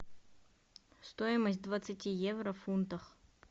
стоимость двадцати евро в фунтах